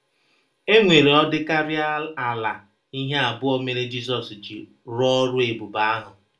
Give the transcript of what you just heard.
E nwere ọ dịkarịa ala ihe abụọ mere Jizọs ji rụọ ọrụ ebube ahụ.